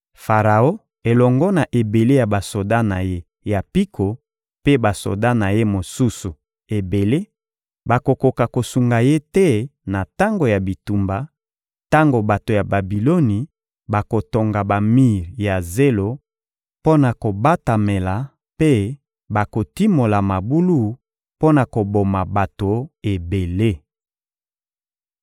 Faraon elongo na ebele ya basoda na ye ya mpiko mpe basoda na ye mosusu ebele bakokoka kosunga ye te na tango ya bitumba; tango bato ya Babiloni bakotonga bamir ya zelo mpo na kobatamela mpe bakotimola mabulu mpo na koboma bato ebele.